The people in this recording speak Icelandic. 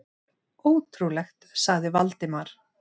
Ótrúlegt sagði Valdimar.